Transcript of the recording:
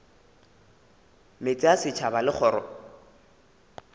meetse a setšhaba le kgoro